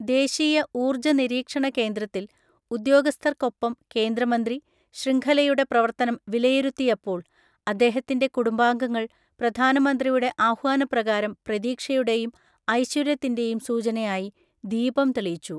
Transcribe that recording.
ദേശീയ ഊർജ നിരീക്ഷണ കേന്ദ്രത്തിൽ, ഉദ്യോഗസ്ഥർക്കൊപ്പം കേന്ദ്രമന്ത്രി, ശൃംഖലയുടെ പ്രവർത്തനം വിലയിരുത്തിയപ്പോൾ അദ്ദേഹത്തിന്റെ കുടുംബാംങ്ങൾ പ്രധാനമന്ത്രിയുടെ ആഹ്വാനപ്രകാരം പ്രതീക്ഷയുടെയും, ഐശ്വര്യത്തിന്റെയും സൂചനയായി ദീപം തെളിയിച്ചു.